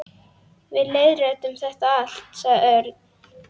Við leiðréttum þetta allt, sagði Örn.